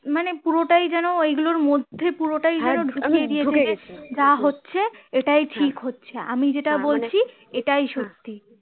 মানে পুটাই যেন এগুলোর মধ্যে পুরোটাই যেন ঢুকিয়ে দিয়েছি যা হচ্ছে এটাই ঠিক হচ্ছে আমি যেটা বলছি সেটাই সত্যি